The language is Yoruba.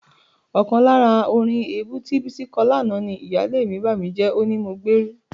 Ọkàn lára orin èébú tí Bísí kọ lánàá ni: "Ìyáálé mi bàmíjẹ́, ó ní mo gbérú..."